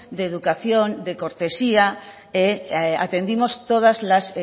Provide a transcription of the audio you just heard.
de educación de cortesía atendimos todas las